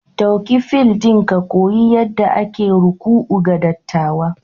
Ɗauki fil ɗin ka koyi yadda ake ruku'u ga dattawa